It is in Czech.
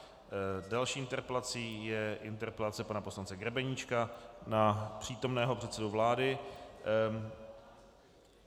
Další interpelací je interpelace pana poslance Grebeníčka na přítomného předsedu vlády.